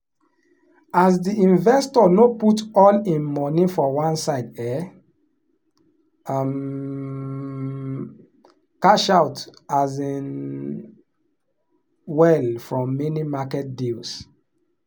as the investor no put all him money for one side e um cash out um well from many market deals.